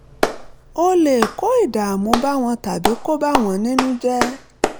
ó lè kó ìdààmú bá wọn tàbí kó bà wọ́n nínú jẹ́